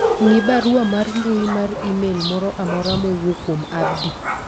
ng'i barua mar mbui mar email moro mamora mowuok kuom Abdi